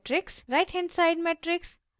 right hand side matrix